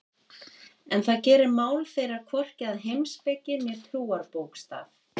En það gerir mál þeirra hvorki að heimspeki né trúarbókstaf.